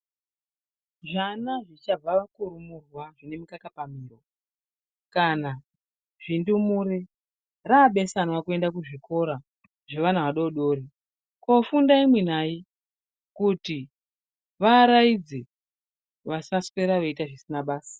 Zvana zvichabva kurumurwa zvine mukaka pamhino kana zvindumure rabesanwa kuenda kuzvikora zvavana vadodori kofunda imwinamwi kuti vaaraidze vasaswera veiite zvisina basa.